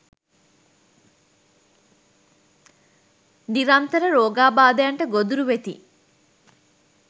නිරන්තර රෝගාබාධයන්ට ගොදුරු වෙති.